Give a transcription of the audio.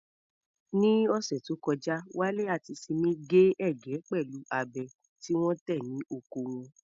Ní ọ̀sẹ̀ tó kọjá, Wale àti Simi gé ẹ̀gẹ́ pẹ̀lú abẹ tí wọ́n tẹ̀ ní oko wọn.